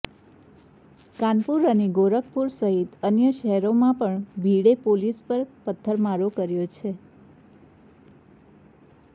કાનપુર અને ગોરખપુર સહિત અન્ય શહેરોમાં પણ ભીડે પોલીસ પર પથ્થરમારો કર્યો છે